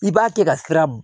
I b'a kɛ ka siran